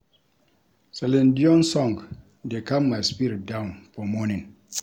Celine Dion song dey calm my spirit down for morning